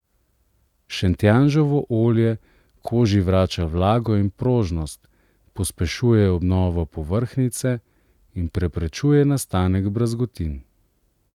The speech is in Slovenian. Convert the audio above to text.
Šentjanževo olje koži vrača vlago in prožnost, pospešuje obnovo povrhnjice in preprečuje nastanek brazgotin.